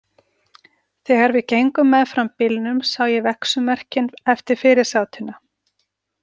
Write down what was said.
Þegar við gengum meðfram bílnum sá ég vegsummerkin eftir fyrirsátina.